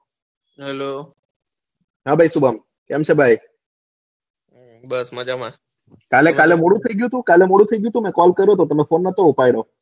FY